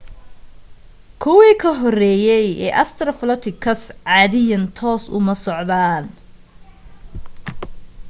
kuwii ka horeeyay ee australopithecus caadiyan toos uma socdaan